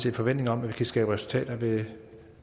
en forventning om at vi kan skabe resultater ved